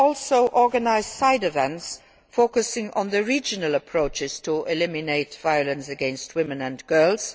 it. We will also organise side events focusing on the regional approaches to eliminating violence against women and